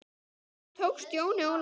Hvernig tókst Jóni Óla það?